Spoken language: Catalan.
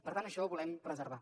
per tant això ho volem preservar